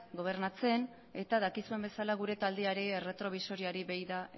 gobernatzen eta dakizuen bezala gure taldeari erretrobisoreari begira